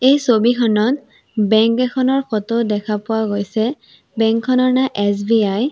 এই ছবিখনত বেংক এখনৰ ফটো দেখা পোৱা গৈছে বেংক খনৰ নাম এছ_বি_আই ।